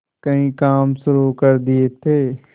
कई काम शुरू कर दिए थे